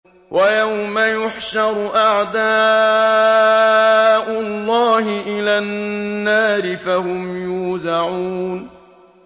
وَيَوْمَ يُحْشَرُ أَعْدَاءُ اللَّهِ إِلَى النَّارِ فَهُمْ يُوزَعُونَ